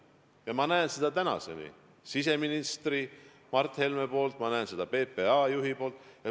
Ja ma näen seda praegugi siseminister Mart Helme poolt, ma näen seda PPA juhi poolt.